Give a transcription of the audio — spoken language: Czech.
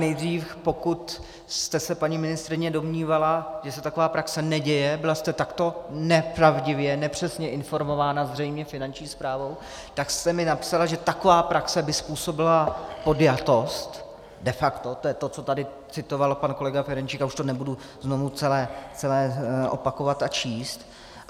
Nejdřív, pokud jste se, paní ministryně, domnívala, že se taková praxe neděje, byla jste takto nepravdivě, nepřesně informována, zřejmě Finanční správou, tak jste mi napsala, že taková praxe by způsobila podjatost de facto, to je to, co tady citoval pan kolega Ferjenčík, a už to nebudu znovu celé opakovat a číst.